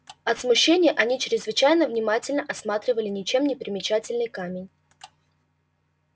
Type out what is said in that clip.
от смущения они чрезвычайно внимательно осматривали ничем не примечательный камень